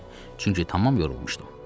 Çünki tamam yorulmuşdum.